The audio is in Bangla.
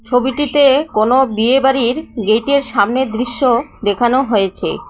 ছবিটিতে কোনো বিয়েবাড়ির গেইটের সামনের দৃশ্য দেখানো হয়েছে।